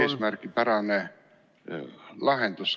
... eesmärgipärane lahendus.